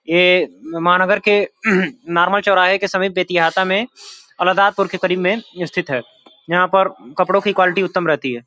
यह महानगर के नार्मल चौराहे के समीप बेतिहाता में अलदातपुर के करीब में स्थित है यहां पर कपड़ों की क्वालिटी उत्तम रहती है।